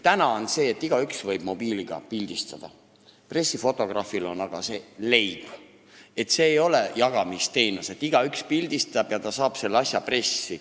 Praegu on nii, et igaüks võib mobiiliga pildistada, pressifotograafile on pildistamine aga leib, see ei ole jagamisteenus, et igaüks pildistab ja saab selle asja pressis avaldatud.